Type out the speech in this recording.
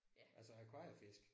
Altså akvariefisk?